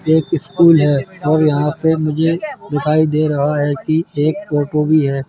ये एक स्कूल है और यहां पे मुझे दिखाई दे रहा है कि एक ऑटो भी है।